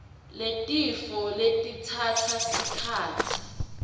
yetifo letitsatsa sikhatsi